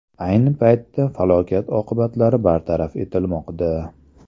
Ayni paytda falokat oqibatlari bartaraf etilmoqda.